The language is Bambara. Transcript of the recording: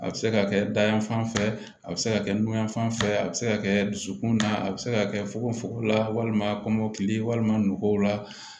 A bɛ se ka kɛ dayan fan fɛ a bɛ se ka kɛ nu yan fan fɛ a bɛ se ka kɛ dusukun na a bɛ se ka kɛ fugofugola walima kɔmɔkili walima nɔgow la